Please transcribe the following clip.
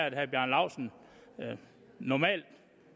at herre bjarne laustsen normalt